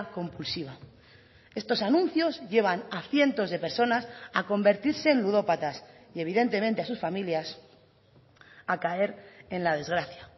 compulsiva estos anuncios llevan a cientos de personas a convertirse en ludópatas y evidentemente a sus familias a caer en la desgracia